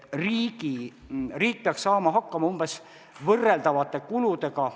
Riik peaks saama hakkama umbes võrreldavate kuludega.